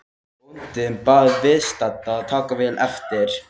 Bóndinn bað viðstadda að taka vel eftir.